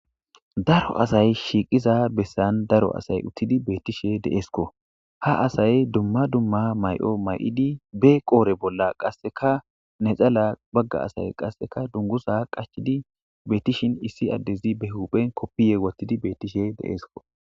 Daro asay shiiqiza bessan daroasay uththidi beeththishee de7eskoo; ha asay dumma dumma may7o may7idi be qoore bolla qassikka naxalaa bagga asay qassikka dungguzaa qachchidi beeththishin issi addezi be huuphe koppiyye woththidi beeththishee de7ees koo.